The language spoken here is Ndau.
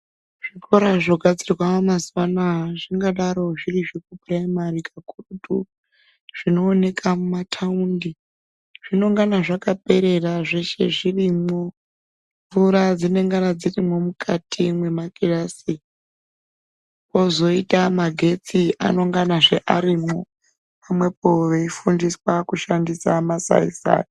Zvikora zvinogadzirwa mazuano aya zvingadaro zviri zveprimary kakurutu, zvinooneka mutaundi ,zvinonga zvakaperera zveshe zvirimwo, mvura dzinenga dzirimwo mukati mwemakirasi, kwozoita magetsi anengezve arimwo pamwepo veifundiswa kushandisa masaisai.